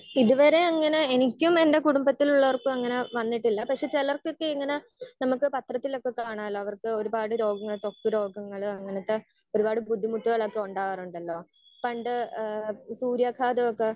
Speaker 1 ഇത് വരെ അങ്ങനെ എനിക്കും എന്റെ കുടുംബത്തിലുള്ളവർക്കും അങ്ങനെ വന്നിട്ടില്ല. പക്ഷെ ചിലർക്കൊക്കെ ഇങ്ങനെ നമുക്ക് പത്രത്തിലൊക്കെ കാണാല്ലോ അവർക്ക് ഒരുപാട് രോഗങ്ങൾ ഇപ്പൊ ത്വക്ക് രോഗങ്ങള് അങ്ങനത്തെ ഒരുപാട് ബുദ്ധിമുട്ടുകളൊക്കെ ഉണ്ടാവാറുണ്ടല്ലോ പണ്ട് ഏഹ് ഈ സൂര്യാഘാതമൊക്കെ